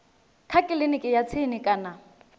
kha kiliniki ya tsini kana